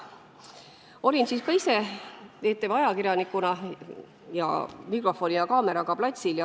Olin siis ka ise ETV ajakirjanikuna mikrofoni ja kaameraga platsil.